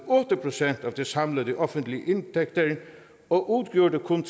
otte procent af de samlede offentlige indtægter og udgjorde kun